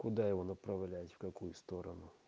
куда его направлять в какую сторону